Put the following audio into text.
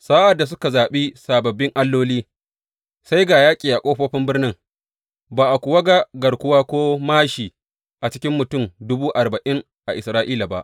Sa’ad da suka zaɓi sababbin alloli, sai ga yaƙi a ƙofofin birnin, ba a kuwa ga garkuwa ko māshi a cikin mutum dubu arba’in a Isra’ila ba.